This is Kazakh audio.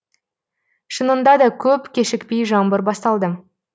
шынында да көп кешікпей жаңбыр басталды